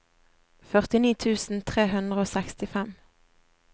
førtini tusen tre hundre og sekstifem